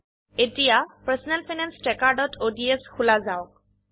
এতিয়া personal finance trackerঅডছ খোলা যাওক